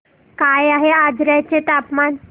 काय आहे आजर्याचे तापमान